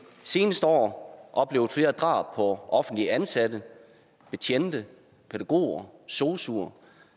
seneste år oplevet flere drab på offentligt ansatte betjente pædagoger sosuer